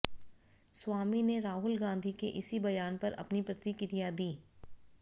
स्वामी ने राहुल गाँधी के इसी बयान पर अपनी प्रतिक्रिया दी